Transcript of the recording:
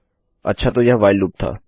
अच्छा तो यह व्हाइल लूप था